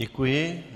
Děkuji.